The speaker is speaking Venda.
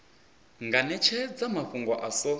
nga netshedza mafhungo a so